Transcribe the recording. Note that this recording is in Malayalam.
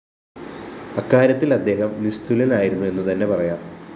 അക്കാര്യത്തില്‍ അദ്ദേഹം നിസ്തുലനായിരുന്നു എന്നുതന്നെ പറയാം